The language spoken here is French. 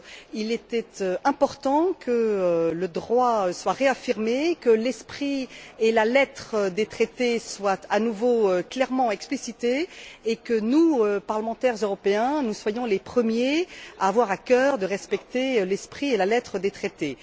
Il était important que le droit soit réaffirmé, que l'esprit et la lettre des traités soient à nouveau clairement explicités et que nous, parlementaires européens, nous soyons les premiers à avoir à cœur de respecter l'esprit et la lettre des traités.